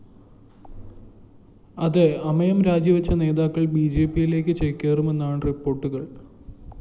അതേ അമയം രാജിവച്ച നേതാക്കൾ ബിജെപിയിലേക്ക് ചേക്കേറുമെന്നാണ് റിപ്പോർട്ടുകൾ